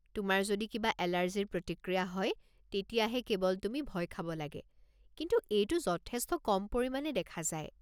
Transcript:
তোমাৰ যদি কিবা এলাৰ্জিৰ প্ৰতিক্ৰিয়া হয় তেতিয়াহে কেৱল তুমি ভয় খাব লাগে, কিন্তু এইটো যথেষ্ট কম পৰিমাণে দেখা যায়।